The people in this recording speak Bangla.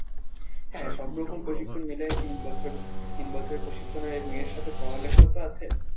হ্যাঁ সব রকম প্রশিক্ষণ মিলায়ে তিন বছর, তিন বছর প্রশিক্ষণ হয় এবং এর সাথে পড়ালেখাও তো আছে